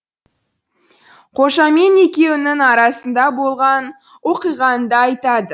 қожамен екеуінің арасында болған оқиғаны да айтады